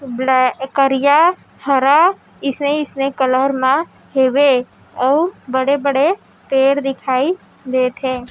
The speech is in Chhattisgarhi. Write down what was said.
ब्लै करिया हरा अइसने-अइसने कलर म हेवे अऊ बड़े-बड़े पेड़ दिखाई देथे।